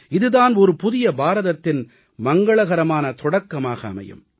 இது தான் ஒரு புதிய பாரதத்தின் மங்களகரமான தொடக்கமாக அமையும்